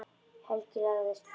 Helgi lagðist fyrir.